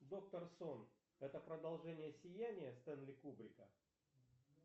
доктор сон это продолжение сияния стенли кубрика